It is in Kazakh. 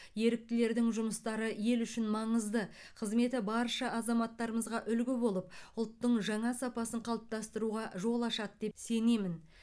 еріктілердің жұмыстары ел үшін маңызды қызметі барша азаматтарымызға үлгі болып ұлттың жаңа сапасын қалыптастыруға жол ашады деп сенемін